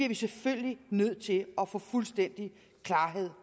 vi selvfølgelig nødt til at få fuldstændig klarhed